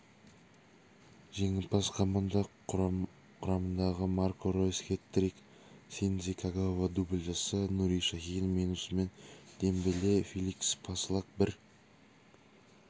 жеңімпаз команда құрамындағымарко ройс хет-трик синдзи кагава дубль жасаса нури шахин менусман дембеле феликс пасслак бір